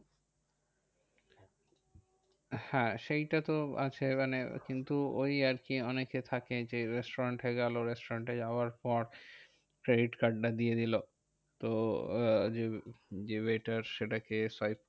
হ্যাঁ সেই টা তো আছে। মানে কিন্তু ওই আরকি অনেকে থাকে যে, restaurant গেলো restaurant যাওয়ার পর, credit card টা দিয়ে দিলো। তো আহ যে waiter সেটাকে solve